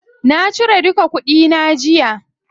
Na ciro duka kuɗi na jiya.